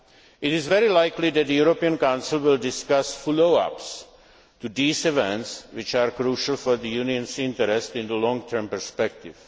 after. It is very likely that the European Council will discuss follow ups to these events which are crucial for the Union's interests in the long term perspective.